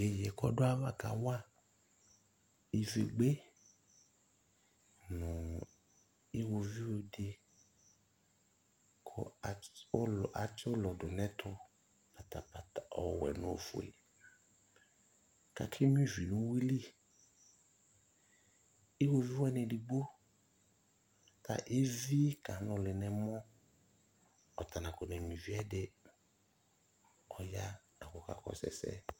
Iyeye e kɔdʋ ayava kawa ivegbe nʋ iwɔviu di kʋ atsi ʋlɔ dʋ nɛtʋ patapata ɔwɛ nʋ ofue kake nyua ivi nʋ uyuili Iwɔviu wani edigbo kevi kanʋli nɛmɔ, ɔtanakɔ nenyua ivi yɛ ɛdi Ɔya la kʋ ɔkakɔsʋ ɛsɛ